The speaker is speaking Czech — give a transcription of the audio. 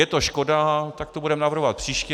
Je to škoda, tak to budeme navrhovat příště.